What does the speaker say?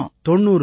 90 இலட்சம்